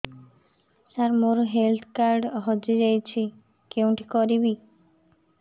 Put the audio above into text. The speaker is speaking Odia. ସାର ମୋର ହେଲ୍ଥ କାର୍ଡ ହଜି ଯାଇଛି କେଉଁଠି କରିବି